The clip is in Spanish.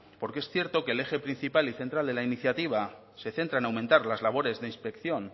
porque es cierto que el eje principal y central de la iniciativa se centra en aumentar las labores de inspección